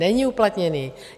Není uplatněný.